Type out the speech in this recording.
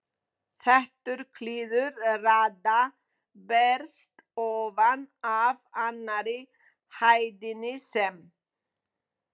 Þéttur kliður radda berst ofan af annarri hæðinni, sem